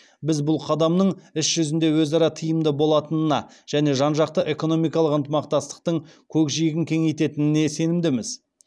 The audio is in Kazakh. біз бұл қадамның іс жүзінде өзара тиімді болатынына және жан жақты экономикалық ынтымақтастықтың көкжиегін кеңейтетініне сенімдіміз